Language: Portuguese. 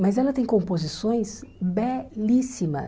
Mas ela tem composições belíssimas.